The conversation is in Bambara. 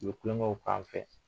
U bɛ tulonkɛw k'a fɛ